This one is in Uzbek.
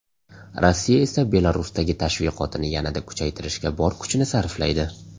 Rossiya esa Belarusdagi tashviqotini yanada kuchaytirishga bor kuchini sarflaydi.